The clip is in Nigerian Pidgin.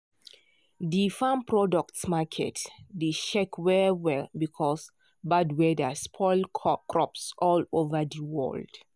di farm products market dey shake well well because bad weather spoil crops all over di world.